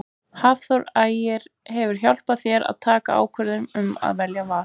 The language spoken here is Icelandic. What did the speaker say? Hafþór Ægir hefur hjálpað þér að taka ákvörðun um að velja Val?